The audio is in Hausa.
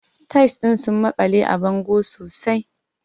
Tiles ɗin sun makale a bango sosai.